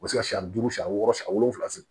U bɛ se ka siɲɛ duuru siɲɛ wɔɔrɔ siɲɛ wolonwula se